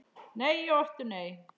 Nei og aftur nei.